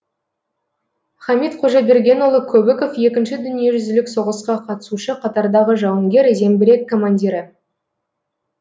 хамит қожабергенұлы көбіков екінші дүниежүзілік соғысқа қатысушы қатардағы жауынгер зеңбірек командирі